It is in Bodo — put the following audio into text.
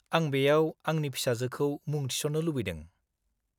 -आं बेयाव आंनि फिसाजोखौ मुं थिसन्नो लुबैदों।